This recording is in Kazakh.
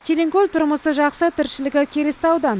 тереңкөл тұрмысы жақсы тіршілігі келісті аудан